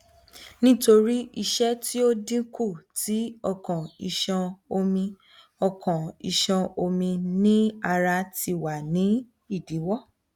nitori iṣẹ ti o dinku ti okan iṣan omi okan iṣan omi ni ara ti wa ni idiwọ